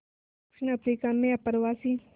दक्षिण अफ्रीका में अप्रवासी